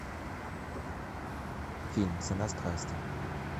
фильм цена страсти